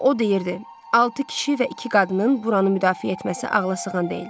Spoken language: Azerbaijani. O deyirdi: Altı kişi və iki qadının buranı müdafiə etməsi ağlasığan deyil.